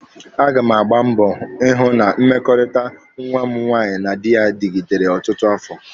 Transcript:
A ga m agba mbọ ịhụ na mmekọrịta nwa m nwaanyị na dị ya dịgidere ọtụtụ afọ.